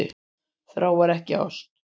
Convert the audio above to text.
Þrá en ekki ást